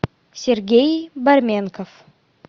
сергей борменков